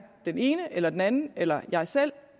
den ene eller den anden eller jeg selv